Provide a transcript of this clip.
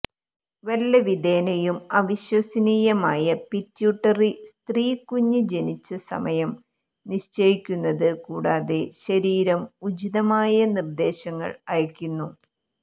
വല്ലവിധേനയും അവിശ്വസനീയമായ പിറ്റ്യൂട്ടറി സ്ത്രീ കുഞ്ഞ് ജനിച്ച സമയം നിശ്ചയിക്കുന്നത് കൂടാതെ ശരീരം ഉചിതമായ നിർദ്ദേശങ്ങൾ അയയ്ക്കുന്നു